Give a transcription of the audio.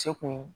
Se kun